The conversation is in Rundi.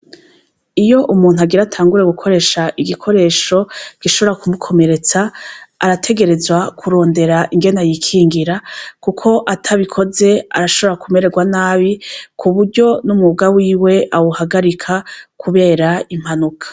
Iyo umuntu agira atangure gukoresha igikoresho gishobora kumukomeretsa arategerezwa kurondera ingena yikingira, kuko atabikoze arashobora kumererwa nabi ku buryo n'umwuga wiwe awuhagarika, kubera impanuka.